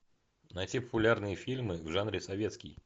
найти популярные фильмы в жанре советский